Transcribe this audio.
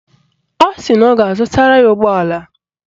Ọ sị na ọ ga-azụtara ya ụgbọala